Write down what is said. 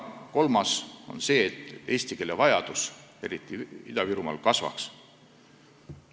Kolmas asi on see, et vajadus eesti keelt kasutada, eriti Ida-Virumaal, kasvaks.